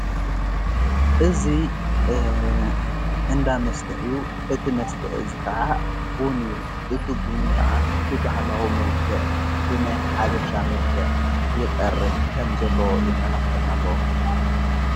እዙ እንዳ መስተ እዩ እቲ መስተ እዚ ኸዓ ቦኑ እዩ እቱቡን ከዓ ብበሃላዊ መልከዕ ብናይ ሓበሻ መልከዕ ይቐርብ ከም ዘሎ የመላኽተና ኣሎ።